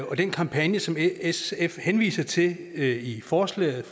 og den kampagne som sf henviser til i forslaget